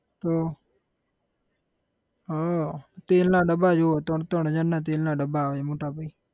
તો હા તેલના ડબ્બા જોવો ત્રણ ત્રણ હજારના તેલના ડબ્બા આવે મોટા ભાઈ.